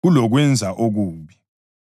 kulokwenza okubi.